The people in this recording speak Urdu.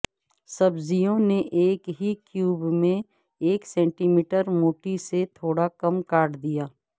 سبزیوں نے ایک ہی کیوب میں ایک سینٹی میٹر موٹی سے تھوڑا کم کاٹ دیا